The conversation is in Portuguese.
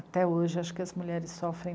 Até hoje, acho que as mulheres sofrem